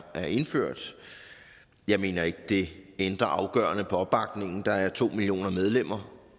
er indført jeg mener ikke at det ændrer afgørende på opbakningen der er to millioner medlemmer